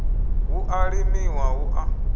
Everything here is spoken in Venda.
hu a limiwa hu a